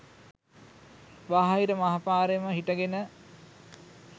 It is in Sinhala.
බාහිය මහපාරෙම හිටගෙන